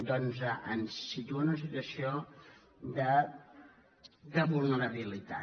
doncs ens situa en una situació de vulnerabilitat